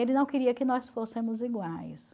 Ele não queria que nós fossemos iguais.